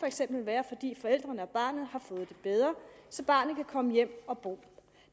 for eksempel være fordi forældrene og barnet har fået det bedre så barnet kan komme hjem og bo